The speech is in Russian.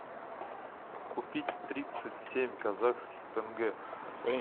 купить тридцать семь казахских тенге